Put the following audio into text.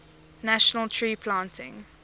national tree planting